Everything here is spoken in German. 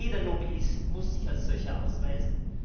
Jeder Lobbyist muss sich als solcher ausweisen.